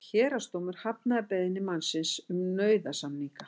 Héraðsdómur hafnaði beiðni mannsins um nauðasamninga